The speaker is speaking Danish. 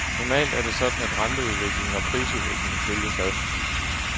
Normalt er det sådan, at renteudvikling og prisudvikling følges ad.